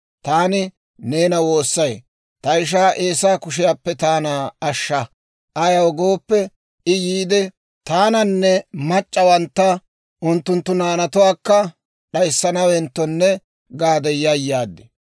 Taani neena woossay; ta ishaa Eesaa kushiyaappe taana ashsha; ayaw gooppe, I yiide, taananne mac'c'awantta unttunttu naanatuwaakka d'ayssanawenttonne gaade yayaad.